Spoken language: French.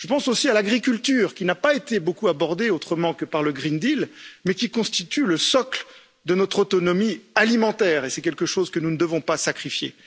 Je pense aussi à l'agriculture, qui n'a pas été beaucoup abordée autrement que par le pacte vert pour l'Europe, mais qui constitue le socle de notre autonomie alimentaire et c'est quelque chose que nous ne devons pas sacrifier.